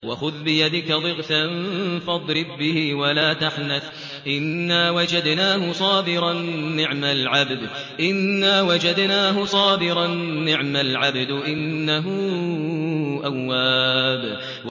وَخُذْ بِيَدِكَ ضِغْثًا فَاضْرِب بِّهِ وَلَا تَحْنَثْ ۗ إِنَّا وَجَدْنَاهُ صَابِرًا ۚ نِّعْمَ الْعَبْدُ ۖ إِنَّهُ أَوَّابٌ